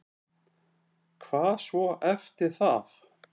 Hvað svo eftir það?